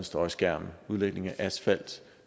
støjskærme udlægning af asfalt